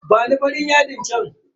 Bani farin yadin chan.